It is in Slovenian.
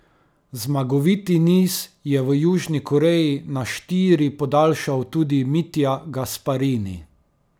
Zmagoviti niz je v Južni Koreji na štiri podaljšal tudi Mitja Gasparini.